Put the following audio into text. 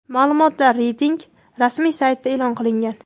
Ma’lumotlar reytingning rasmiy saytida e’lon qilingan .